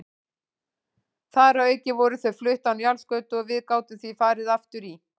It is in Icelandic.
Þar að auki voru þau flutt á Njálsgötu og við gátum því farið aftur í